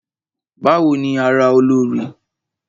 Bawo ni ara Olorì?